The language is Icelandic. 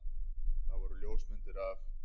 Það voru ljósmyndir af